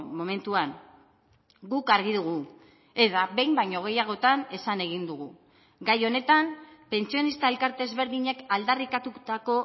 momentuan guk argi dugu eta behin baino gehiagotan esan egin dugu gai honetan pentsionista elkarte ezberdinek aldarrikatutako